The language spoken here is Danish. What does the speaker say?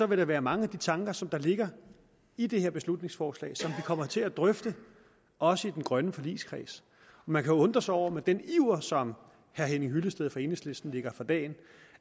vil der være mange af de tanker som ligger i det her beslutningsforslag som vi kommer til at drøfte også i den grønne forligskreds man kan undre sig over med den iver som herre henning hyllested fra enhedslisten lægger for dagen